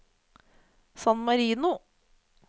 San Marino